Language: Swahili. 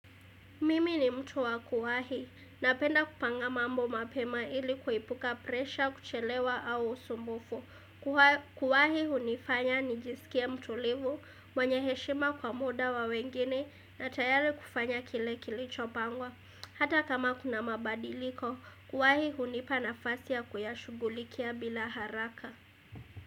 Mimi ni mtu wa kuwahi, napenda kupanga mambo mapema ili kuepuka presha, kuchelewa au usumbufu. Kuwahi hunifanya nijisikie mtulivu, mwenye heshima kwa muda wa wengine, na tayari kufanya kile kilicho pangwa. Hata kama kuna mabadiliko, kuwahi hunipa nafasi ya kuyashughulikia bila haraka.